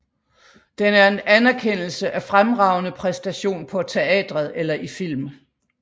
Den er en anerkendelse af fremragende præstation på teatret eller i film